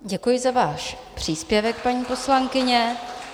Děkuji za váš příspěvek, paní poslankyně.